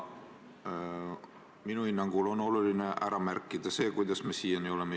Minu hinnangul on oluline ära märkida, kuidas me siia jõudnud oleme.